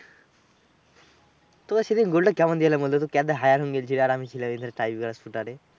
তোকে সেদিন গোলটা কেমন দিলাম বলত? কেদ্দা hire হইল গেছিলি আর আমি আর ছেলে মিলে tribeca shoot আর এ